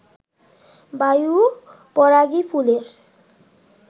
বায়ু পরাগী ফুলের